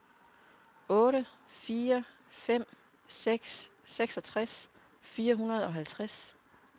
otte fire fem seks seksogtres fire hundrede og halvtreds